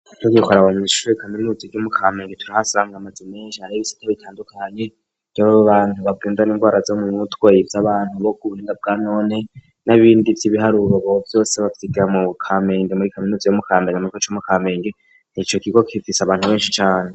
Nigiko ara bamuishubi kaminuzi ry'umu kamenge turihasangwe amaze meshi harobisita bitandukanye ry'abbo bantu bagwindana ingwara zo mu mutwey y'abantu boko uburinda bwa nonte n'abindi vy'ibihari ububababo vyose bavyiga mu kamenge muri kaminuzi y'oumukandanye amatwe c'umukamenge ni ico kigo kizisa abantu benshi cane.